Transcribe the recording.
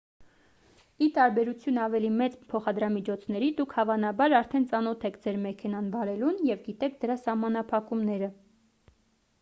ի տարբերություն ավելի մեծ փոխադրամիջոցների դուք հավանաբար արդեն ծանոթ եք ձեր մեքենան վարելուն և գիտեք դրա սահմանափակումները